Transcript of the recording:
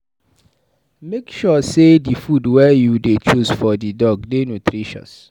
Make sure sey di food wey you dey choose for di dog dey nutritious.